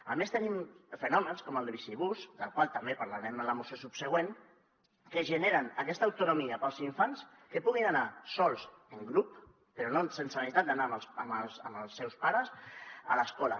a més tenim fenòmens com el de bicibús del qual també parlarem en la moció subsegüent que generen aquesta autonomia per als infants que puguin anar sols en grup però sense la necessitat d’anar amb els seus pares a l’escola